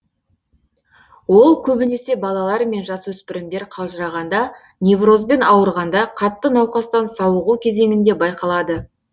ол көбінесе балалар мен жасөспірімдер қалжырағанда неврозбен ауырғанда қатты науқастан сауығу кезеңінде байқалады